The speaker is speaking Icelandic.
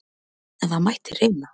En það mætti reyna!